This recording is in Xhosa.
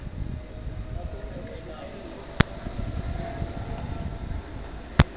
l p yali